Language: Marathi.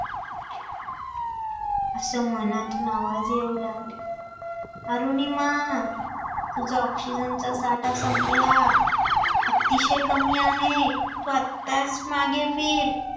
असं मनातून आवाज येऊ लागले, अरुणिमा तुझा oxygen चा साठा संपला, अतिशय कमी आहे, तू आताच मागे फिर